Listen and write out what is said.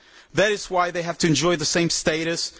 That is why they have to enjoy the same status.